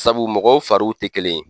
Sabu mɔgɔw fariw tɛ kelen ye.